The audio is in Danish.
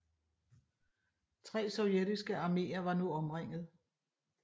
Tre sovjetiske arméer var nu omringet